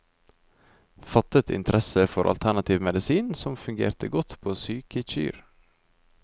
Fattet interesse for alternativ medisin, som fungerte godt på syke kyr.